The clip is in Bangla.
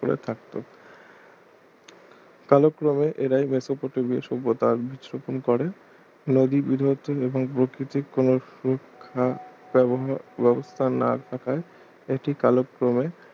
করে থাকতো কালক্রমে এরাই মেসোপটেমিয়া সভ্যতার বীজ রোপণ করে ব্যবহার ব্যবস্থা না থাকায় এটি কালক্রমে